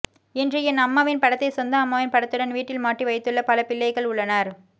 இன்று என் அம்மாவின் படத்தைச் சொந்த அம்மாவின் படத்துடன் வீட்டில் மாட்டி வைத்துள்ள பல பிள்ளைகள் உள்ளனர்